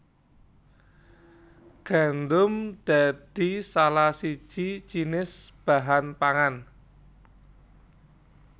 Gandum dadi salah siji jinis bahan pangan